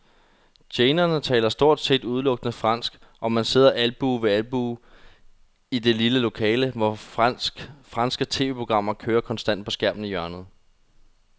Tjenerne taler stort set udelukkende fransk, og man sidder albue ved albue i det lille lokale, hvor franske tv-programmer kører konstant på skærmen i hjørnet.